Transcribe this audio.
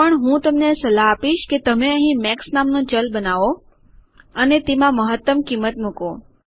પણ હું તમને સલાહ આપીશ કે તમે અહીં મેક્સ નામનું ચલ બનાવો અને તેમાં મહત્તમ કિંમત મુકો